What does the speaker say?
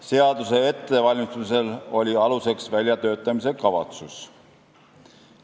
Seaduse ettevalmistamisel oli aluseks väljatöötamiskavatsus.